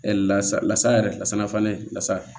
lasa yɛrɛ lasana fana lasa